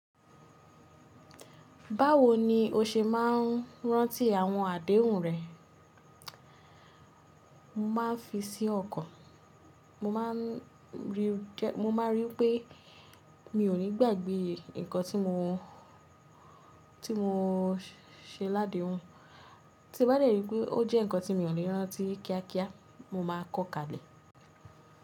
Báwo ni o ṣe máa ń rántí àwọn àdéhùn rẹ? Mo máa ń fi sí ọkàn, mo ma rii pé mi ò ní gbàgbé nǹkan tí mo ti mo ṣe ládèéhun, tí mo bá lè rí i pé ó jẹ́ nǹkan tí mi ò ní rántí kíákíá mo máa kọ́ ka ile.